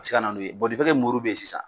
Se ka na n'o ye bɔn de fɛ ke muru be yen sisan